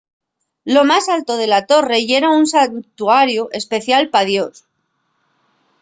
lo más alto de la torre yera un santuariu especial pal dios